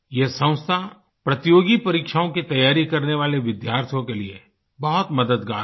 यह संस्था प्रतियोगी परीक्षाओं की तैयारी करने वाले विद्यार्थियों के लिए बहुत मददगार है